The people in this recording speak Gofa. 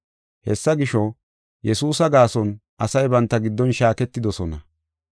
Hessa gisho, Yesuusa gaason asay banta giddon shaaketidosona.